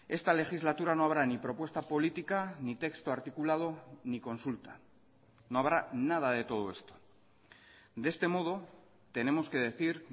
esta legislatura no habrá ni propuesta política ni texto articulado ni consulta no habrá nada de todo esto de este modo tenemos que decir